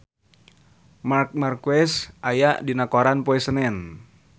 Marc Marquez aya dina koran poe Senen